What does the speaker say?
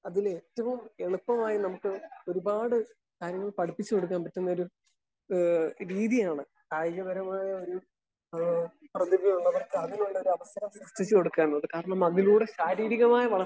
Speaker 1 അതിലേറ്റവും എളുപ്പമായി നമുക്ക് ഒരുപാട് കാര്യങ്ങൾ പഠിപ്പിച്ചു കൊടുക്കാൻ പറ്റുന്ന ഒരു ഏഹ് രീതിയാണ് കായിക പരമായ ഒരു ഏഹ് പ്രതിഭയോട് അതിനുള്ള ഒരു അവസരം എത്തിച്ചു കൊടുക്കാ എന്നത്. കാരണം അതിലൂടെ ശാരീരികമായ വളർച്ച